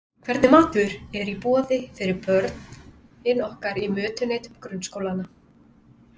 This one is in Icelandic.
Hvernig matur er í boði fyrir börnin okkar í mötuneytum grunnskólanna?